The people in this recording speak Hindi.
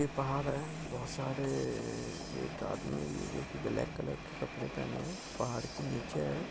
एक पहाड़ है बहुत सारे एक आदमी भी है जो कि ब्लॅक कलर के कपड़े पहने है पहाड़ी के नीचे है।